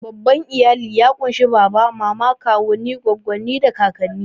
Babban iyali ya ƙunshi baba, mama, kawunnai, goggonni, da kakanni.